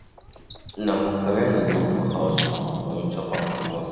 Na macaroni dey for house oo and we chop am for morning.